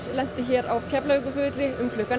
lenti hér á Keflavíkurflugvelli